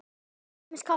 Til dæmis kaffi.